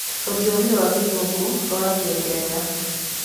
Rũthiomi rwa Gĩthũngũ rwaragio Ngeretha.